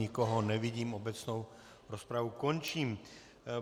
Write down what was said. Nikoho nevidím, obecnou rozpravu končím.